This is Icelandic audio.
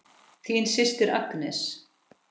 Þín systir Agnes.